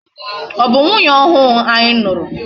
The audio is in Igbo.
Ọ bụ nwunye ọhụụ anyị nụrụ.